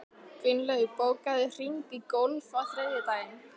Gunnlaug, bókaðu hring í golf á þriðjudaginn.